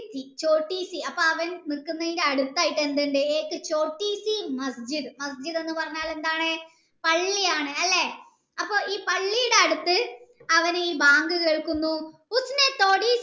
അപ്പം അവൻ നിക്കുന്നയിൻ്റെ അടുത്തായിട്ട് എന്തുണ്ട് എന്ന് പറഞ്ഞാൽ എന്താണ് പള്ളിയാണ് അല്ലെ അപ്പൊ ഈ പള്ളിയുടെ അടുത്ത് അവൻ ഈ ബാങ്ക് കേൾക്കുന്നു